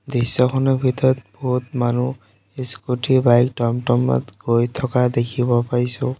দৃশ্যখনৰ ভিতৰত বহুত মানুহ স্কুটি বাইক টমটমত গৈ থকা দেখিব পাইছোঁ।